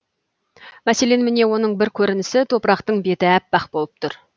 мәселен міне оның бір көрінісі топырақтың беті аппақ болып тұр